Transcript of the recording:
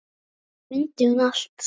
Þetta mundi hún allt.